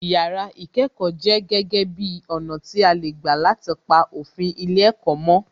Yàrá ìkẹ́kọ̀ọ jẹ́ gege bi ọ̀nà tí a lè gbà láti pa òfin ilé ẹ̀kọ́ mó